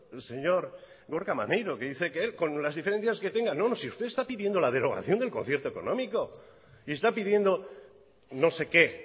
gorka maneiro que dice que él con las diferencias que tenga no si usted está pidiendo la derogación del concierto económico y está pidiendo no se qué